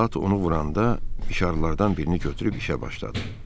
saat onu vuranda mişarlardan birini götürüb işə başladı.